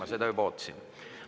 Ma seda juba ootasin.